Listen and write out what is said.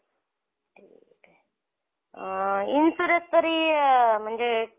अ insurance तरी म्हणजे किती